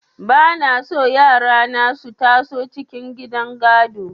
Ba na so yara na su taso cikin gidan gado.